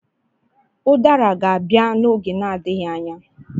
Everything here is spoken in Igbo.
Udara ga-abịa n'oge na-adịghị anya.